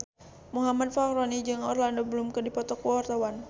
Muhammad Fachroni jeung Orlando Bloom keur dipoto ku wartawan